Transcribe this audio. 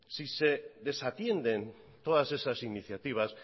si se desatienden todas esas iniciativas